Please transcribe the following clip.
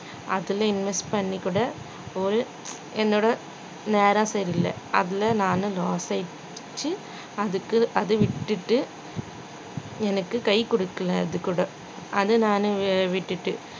அதுல invest பண்ணிக்கூட ஒரு என்னோட நேரம் சரியில்ல அப்படின்னு நானு யோசிச்சி அதுக்கு~ அதுவிட்டுட்டு எனக்கு கை கொடுக்கல அதுகூட அதனால விட்டுட்டு